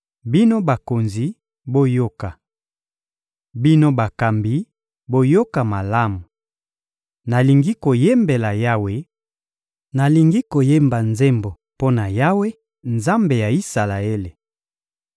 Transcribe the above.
Bino bakonzi, boyoka! Bino bakambi, boyoka malamu! Nalingi koyembela Yawe, nalingi koyemba nzembo mpo na Yawe, Nzambe ya Isalaele.